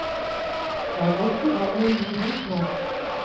Jeg er godt i gang med en ny bok nå.